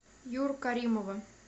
юру каримова